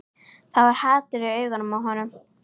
Það var hatur í augunum á honum.